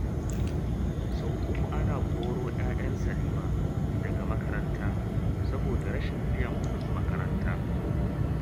Sau uku ana koro 'ya'yan Salima daga makaranta, saboda rashin biyan kuɗin makaranta